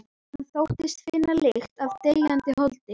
Hann þóttist finna þar lykt af deyjandi holdi.